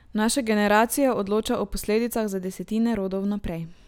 Naša generacija odloča o posledicah za desetine rodov vnaprej.